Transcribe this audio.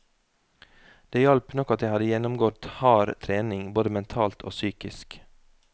Det hjalp nok at jeg hadde gjennomgått hard trening, både mentalt og psykisk.